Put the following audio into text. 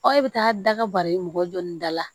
e bɛ taa da ka bari mɔgɔ jɔ nin da la